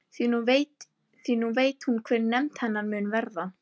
Því nú veit hún hver hefnd hennar mun verða.